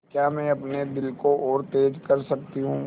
क्या मैं अपने दिल को और तेज़ कर सकती हूँ